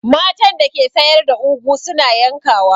Matan da ke sayar da ugwu su na yankawa.